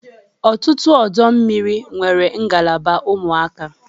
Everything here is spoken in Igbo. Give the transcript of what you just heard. Ọtụtụ ọdọ mmiri nwere ngalaba ụmụaka.